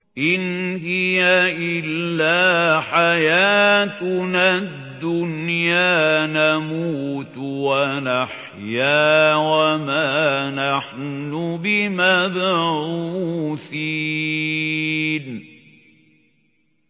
إِنْ هِيَ إِلَّا حَيَاتُنَا الدُّنْيَا نَمُوتُ وَنَحْيَا وَمَا نَحْنُ بِمَبْعُوثِينَ